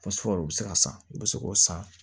u bɛ se ka san u bɛ se k'o san